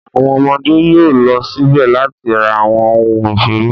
Àwọn ọmọdé yóò lọ síbẹ̀ láti ra àwọn ohun ìṣeré.